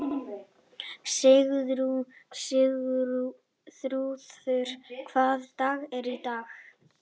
Sigþrúður, hvaða dagur er í dag?